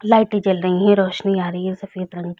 लाइटे जल रही है रौशनी आ रही है सफ़ेद रंग की--